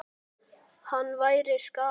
Það væri skaði.